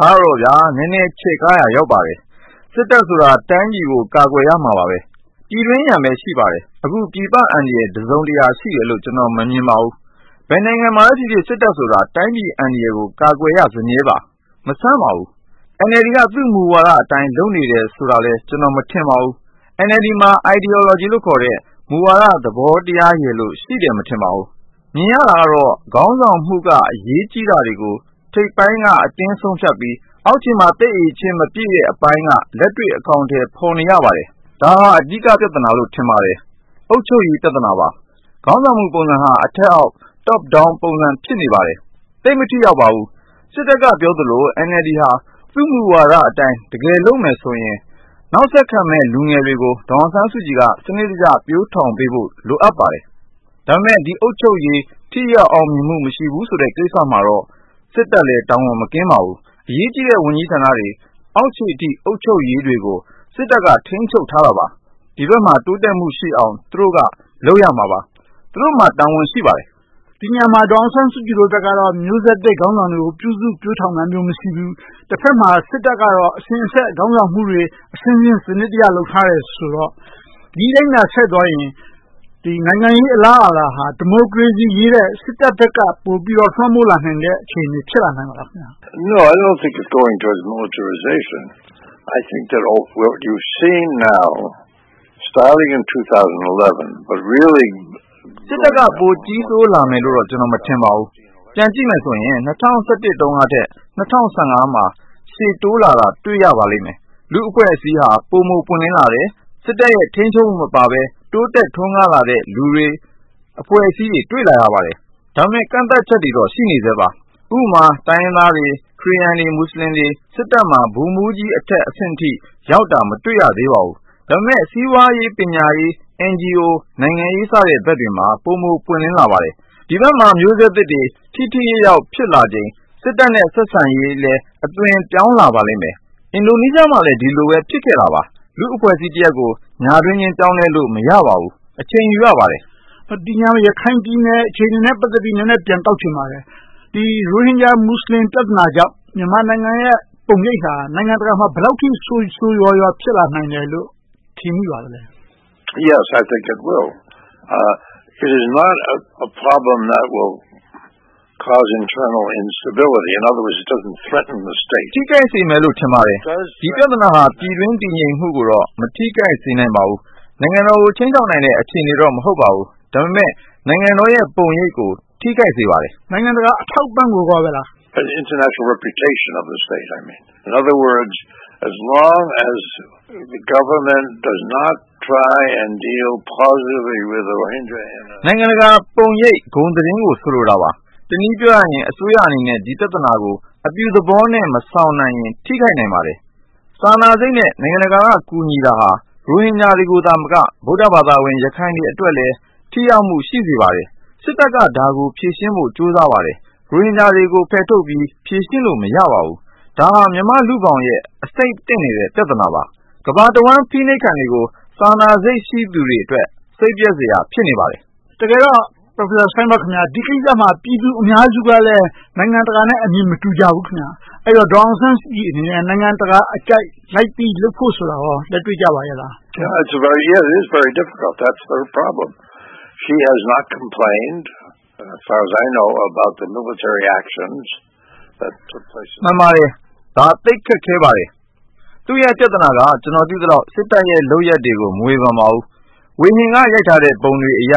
ဒါကတော့ နည်းနည်းချဲ့ကားရာ ရောက်ပါတယ်။ စစ်တပ်ဆိုတာ တိုင်းပြည်ကို ကာကွယ်ရမှာပဲ။ ပြည်တွင်းရန်ပဲ ရှိပါတယ်။ အခုပြည်ပအန္တရာယ် တစုံတရာ ရှိတယ်လို့ ကျနော် မမြင်ပါဘူး။ ဘယ်နိုင်ငံမှာပဲဖြစ်ဖြစ် စစ်တပ်ဆိုတာ တိုင်းပြည်အန္တရာယ်ကို ကာကွယ်ရစမြဲပါ။ မဆန်းပါဘူး။ NLD က သူ့မူဝါဒအတိုင်း လုပ်နေတယ်ဆိုတာလည်း ကျနော် မထင်ပါဘူး။ NLD မှာ Ideology လို့ခေါ်တဲ့ မူဝါဒသဘောတရားရယ်လို့ ရှိတယ် မထင်ပါဘူး။ မြင်ရတာကတော့ ခေါင်းဆောင်မှုက အရေးကြီးတာတွေကို ထိပ်ပိုင်းက အတင်းဆုံးဖြတ်ပြီး အောက်ခြေမှာ သိပ်အရည်အချင်း မပြည့်တဲ့အပိုင်းက လက်တွေ့အကောင်အထည် ဖော်နေရပါတယ်။ ဒါဟာ အဓိကပြဿနာလို့ ထင်ပါတယ်။ အုပ်ချုပ်ရေး ပြဿနာပါ။ ခေါင်းဆောင်မှုပုံစံဟာ အထက်အောက် Top-Down ပုံစံ ဖြစ်နေပါတယ်။ သိပ်မထိရောက်ပါဘူး။ စစ်တပ်က ပြောသလို NLD ဟာ သူ့မူဝါဒအတိုင်း တကယ်လုပ်မယ်ဆိုရင် နောက်ဆက်ခံမယ့် လူငယ်တွေကို ဒေါ်အောင်ဆန်းစုကြည်က စနစ်တကျ ပျိုထောင်ပေးဖို့ လိုအပ်ပါတယ်။ ဒါပေမဲ့ ဒီအုပ်ချုပ်ရေး ထိရောက်အောင်မြင်မှု မရှိဘူးဆိုတဲ့ ကိစ္စမှာတော့ စစ်တပ်လည်း တာဝန်မကင်းပါဘူး။ အရေးကြီးတဲ့ ဝန်ကြီးဌာနတွေ အောက်ခြေအထိ အုပ်ချုပ်ရေးတွေကို စစ်တပ်က ထိန်းချုပ်ထားတာပါ။ ဒီဘက်မှာ တိုးတက်မှုရှိအောင် သူတို့က လုပ်ရမှာပါ။ သူတို့မှာ တာဝန်ရှိပါတယ်။ ဒီနေရာမှာ ဒေါ်အောင်ဆန်းစုကြည်ဘက်ကတော့ မျိုးဆက်သစ်ခေါင်းဆောင်တွေကို ပြုစုပျိုထောင်တာမျိုး မရှိဘူး။ တဘက်မှာ စစ်တပ်ကတော့ အစဉ်အဆက် ခေါင်းဆောင်မှုတွေ အဆင့်ဆင့် စနစ်တကျ လုပ်ထားတယ်ဆိုတော့ ဒီအတိုင်းသာ ဆက်သွားရင် နိုင်ငံရေးအလားအလာဟာ ဒီမိုကရေစီအရေးထက် စစ်တပ်ဘက်က ပိုပြီးတော့ လွှမ်းမိုးလာနိုင်တဲ့ အခြေအနေ ဖြစ်လာနိုင်ပါသလား။ စစ်တပ်က ပိုကြီးဆိုးလာမယ်လို့တော့ ကျနော် မထင်ပါဘူး။ ပြန်ကြည့်မယ်ဆိုရင် ၂၀၁၁ တုန်းကထက် ၂၀၁၁ တုန်းက ရှေ့တိုးလာတာ တွေ့ရပါလိမ့်မယ်။ လူ့အဖွဲ့အစည်းဟာ ပိုမိုပွင့်လင်းလာတယ်။ စစ်တပ်ရဲ့ ထိန်းချုပ်မှုမပါဘဲ တိုးတက်ထွန်းကားလာတဲ့ လူတွေအဖွဲ့အစည်းတွေကို တွေ့လာရပါတယ်။ ဒါပေမဲ့ ကန့်သတ်ချက်တွေတော့ ရှိနေဆဲပါ။ ဥပမာ တိုင်းရင်းသားတွေ၊ ခရစ်ယာန်တွေ၊ မူစလင်တွေ စစ်တပ်မှာ ဗိုလ်မှူးကြီးအထက်အဆင့်အထိ ရောက်တာ မတွေ့ရသေးပါဘူး။ ဒါပေမဲ့ စီးပွားရေး၊ ပညာရေး၊ NGO နိုင်ငံရေးစတဲ့ ဘက်တွေမှာ ပိုမိုပွင့်လင်းလာပါတယ်။ ဒီဘက်မှာ မျိုးဆက်သစ်တွေ ထိထိရောက်ရောက် ဖြစ်လာချိန် စစ်တပ်နဲ့ ဆက်ဆံရေးလည်း အသွင်ပြောင်းလာပါလိမ့်မယ်။ အင်ဒိုနီးရှားမှာလည်း ဒီလိုပဲ ဖြစ်ခဲ့တာပါ။ လူ့အဖွဲ့အစည်းတရပ်ကို ညတွင်းချင်း ပြောင်းလဲလို့ မရပါဘူး။ အချိန်ယူရပါတယ်။ ဒီနေရာမှာ ရခိုင်ပြည်နယ်အခြေအနေနဲ့ ပတ်သက်ပြီး နည်းနည်းပြန်တောက်ချင်ပါတယ်။ ရိုဟင်ဂျာမူစလင် ပြဿနာကြောင့် မြန်မာနိုင်ငံရဲ့ ပုံရိပ်ဟာ နိုင်ငံတကာမှာ ဘယ်လောက်အထိ ဆိုးဆိုးရွားရွား ဖြစ်လာနိုင်မယ်လို့ ထင်မိပါသလဲ။ ထိခိုက်စေမယ်လို့ ထင်ပါတယ်။ ဒီပြဿနာက ပြည်တွင်းတည်ငြိမ်မှုကိုတော့ မထိခိုက်စေနိုင်ပါဘူး။ နိုင်ငံတော်ကို ခြိမ်းခြောက်နိုင်မယ့် အခြေအနေတော့ မဟုတ်ပါဘူး။ ဒါပေမဲ့ နိုင်ငံတော်ရဲ့ ပုံရိပ်ကို ထိခိုက်စေပါတယ်။ နိုင်ငံတကာ အထောက်အပံ့ကို ဆိုလိုတာလား။ နိုင်ငံတကာပုံရိပ် ဂုဏ်သတင်းကို ဆိုလိုတာပါ။ တနည်းပြောရရင် အစိုးရအနေနဲ့ ဒီပြဿနာကို အပြုသဘောနဲ့ မဆောင်နိုင်ရင် ထိခိုက်နိုင်ပါတယ်။ စာနာစိတ်နဲ့ နိုင်ငံတကာက ကူညီနေတာဟာ ရိုဟင်ဂျာတွေသာမက ဗုဒ္ဓဘာသာ ရခိုင်တွေအတွက်လည်း ထိရောက်မှု ရှိစေပါတယ်။ စစ်တပ်က ဒါကိုဖြေရှင်းဖို့ ကြိုးစားပါတယ်။ ရိုဟင်ဂျာတွေကို ဖယ်ထုတ်ပြီး ဖြေရှင်းလို့ မရပါဘူး။ ဒါဟာ မြန်မာ့လူ့ဘောင်ရဲ့ အဆိပ်သင့်နေတဲ့ ပြဿနာပါ။ ကမ္ဘာတဝှမ်း အဖိနှိပ်ခံတွေကို စာနာစိတ်ရှိသူတွေအတွက် စိတ်ပျက်စရာ ဖြစ်နေပါတယ်။ တကယ်တော့ Dr. Steinberg ခင်များ ဒီကိစ္စမှာ ပြည်သူအများစုကလည်း နိုင်ငံတကာနဲ့ အမြင်မတူကြဘူးခင်များ။ ဒေါ်အောင်ဆန်းစုကြည်အနေနဲ့ နိုင်ငံတကာအကြိုက် လိုက်ပြီးလုပ်ဖို့ဆိုတာကော လက်တွေ့ကျပါသလား။ မှန်ပါတယ်။ ဒါ သိပ်ခက်ခဲပါတယ်။ သူ့ရဲ့ပြဿနာက ကျနော် သိသလောက် စစ်တပ်ရဲ့ လုပ်ရပ်တွေကို မဝေဖန်ပါဘူး။ ဝေဟင်က ရိုက်ထားတဲ့ ပုံတွေအရ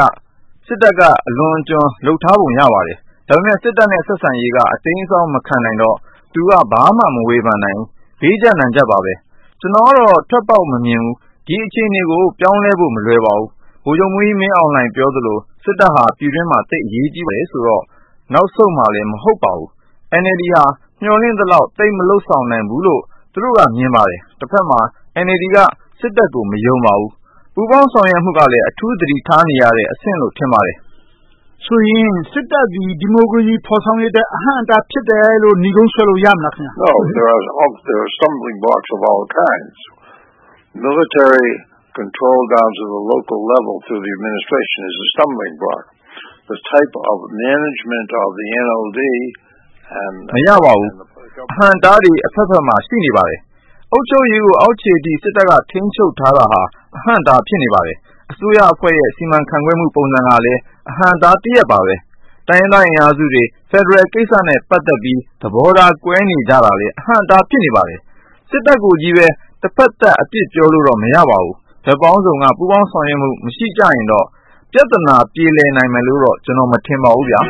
စစ်တပ်က အလွန်အကျွံ လုပ်ထားပုံ ရပါတယ်။ ဒါပေမဲ့ စစ်တပ်နဲ့ ဆက်ဆံရေးက အတိမ်းအစောင်း မခံနိုင်တော့ သူက ဘာမှမဝေဖန်နိုင်ဘူး။ ဘေးကျပ်နံကျပ်ပါပဲ။ ကျနော်ကတော့ ထွက်ပေါက်မမြင်ဘူး။ ဒီအခြေအနေကို ပြောင်းလဲဖို့ မလွယ်ပါဘူး။ ဗိုလ်ချုပ်မှူးကြီး မင်းအောင်လှိုင် ပြောသလို စစ်တပ်ဟာ ပြည်တွင်းမှာ သိပ်အရေးကြီးတယ်ဆိုတော့ နောက်ဆုတ်မှာလည်း မဟုတ်ပါဘူး။ NLD ဟာ မျှော်လင့်သလောက် သိပ်မလုပ်ဆောင်နိုင်ဘူးလို့ သူတို့က မြင်ပါတယ်။ တဘက်မှာ NLD က စစ်တပ်ကို မယုံပါဘူး။ ပူးပေါင်းဆောင်ရွက်မှုကလည်း အထူးသတိထားနေရတဲ့ အဆင့်လို့ ထင်ပါတယ်။ ဆိုသည် စစ်တပ်သည် ဒီမိုကရေစီ ဖော်ဆောင်ရေးအတွက် အဟန့်အတား ဖြစ်တယ်လို့ နိဂုံးဆွဲလို့ရမလား။ မရပါဘူး။ အဟန့်အတားတွေ အဘက်ဘက်မှာ ရှိနေပါတယ်။ အုပ်ချုပ်ရေးကို အောက်ခြေအထိ စစ်တပ်က ထိန်းချုပ်ထားတာဟာ အဟန့်အတား ဖြစ်နေပါတယ်။ အစိုးရအဖွဲ့ရဲ့ အစီအမံခန့်ခွဲမှု ပုံစံကလည်း အဟန့်အတားတရပ်ပါပဲ။ တိုင်းရင်းသားအင်အားစုတွေ ဖယ်ဒရယ်ကိစ္စနဲ့ ပတ်သက်ပြီး သဘောထား ကွဲနေကြတာလည်း အဟန့်အတား ဖြစ်နေပါတယ်။ စစ်တပ်ကိုကြီးပဲ တဘက်သတ် အပြစ်ပြောလို့တော့ မရပါဘူး။ ဘက်ပေါင်းစုံက ပူးပေါင်းဆောင်ရွက်မှု မရှိကြရင်တော့ ပြဿနာ ပြေလည်နိုင်မယ်လို့တော့ မထင်ပါဘူးဗျာ။